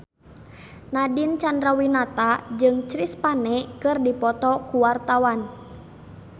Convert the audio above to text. Nadine Chandrawinata jeung Chris Pane keur dipoto ku wartawan